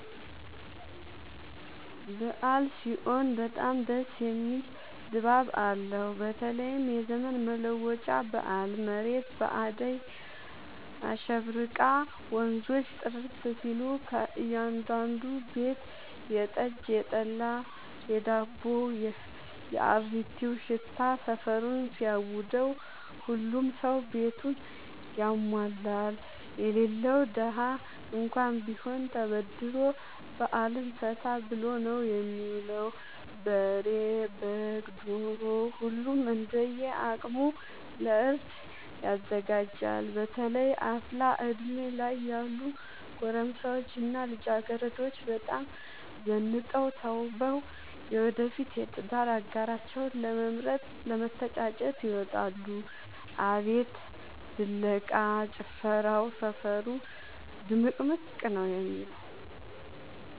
አበዓል ሲሆን በጣም ደስ የሚል ድባብ አለው በተለይም የዘመን መለወጫ በአል መሬት በአዳይ አሸብርቃ ወንዞቹ ጥርት ሲሉ ከእያዳዱ ቤት የጠጅ፣ የጠላ የዳቦው።፣ የአሪቲው ሽታ ሰፈሩን ሲያውደው። ሁሉም ሰው ቤቱን ያሟላል የሌለው ደሀ እንኳን ቢሆን ተበድሮ በአልን ፈታ ብሎ ነው የሚውለው። በሬ፣ በግ፣ ዶሮ ሁሉም እንደየ አቅሙ ለእርድ ያዘጋጃል። በተለይ አፍላ እድሜ ላይ ያሉ ጎረምሶች እና ልጃገረዶች በጣም ዘንጠው ተውበው የወደፊት የትዳር አጋራቸውን ለመምረጥ ለመተጫጨት ይወጣሉ። አቤት ድለቃ፣ ጭፈራው ሰፈሩ ድምቅምቅ ነው የሚለው።